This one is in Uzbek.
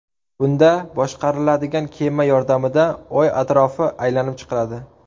Bunda boshqariladigan kema yordamida Oy atrofi aylanib chiqiladi.